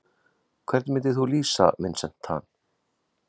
Hvernig myndir þú lýsa Vincent Tan?